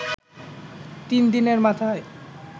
তিন দিনের মাথায়